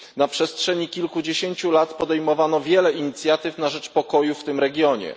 Na przestrzeni kilkudziesięciu lat podejmowano wiele inicjatyw na rzecz pokoju w tym regionie.